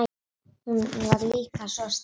Hún var líka svo sterk.